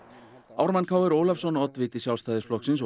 Ármann Kr Ólafsson oddviti Sjálfstæðisflokksins